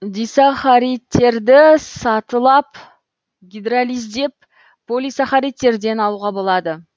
дисахаридтерді сатылап гидролиздеп полисахаридтерден алуға болады